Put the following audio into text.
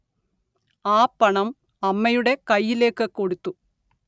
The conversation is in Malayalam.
ആ പണം അമ്മയുടെ കയ്യിലേക്ക് കൊടുത്തു